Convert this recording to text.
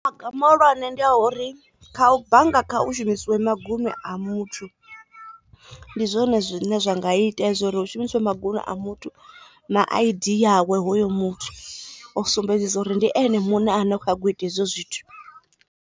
Maga muhulwane ndi a uri kha bannga kha u shumisiwe maguṅwe a muthu ndi zwone zwine zwa nga ita uri hu shumisiwe maguṅwe a muthu na I_D yawe hoyo muthu u sumbedzisa uri ndi ene muṋe a na kha nyago ita hezwo zwithu.